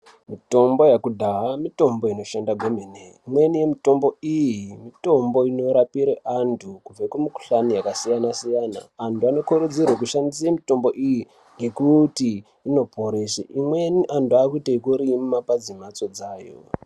Mitombo yakudhaya mitombo inoshanda kwemene .Imweni yemitombo iyi ,mitombo inorapire antu kubve kumikhuhlani yakasiyana-siyana. Antu anokurudzirwa kushandise mitombo iyi , ngekuti inoporese. Imweni antu aakuite ekurima padzimhatso dzayo.